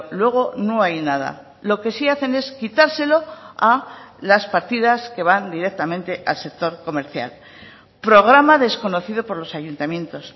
luego no hay nada lo que sí hacen es quitárselo a las partidas que van directamente al sector comercial programa desconocido por los ayuntamientos